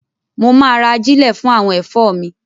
Mo máa ra ajílẹ̀ fún àwọn ẹ̀fọ́ mi.